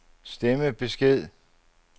stemmebesked